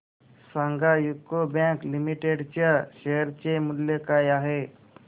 सांगा UCO bank limited च्या share चे मूल्य काय आहे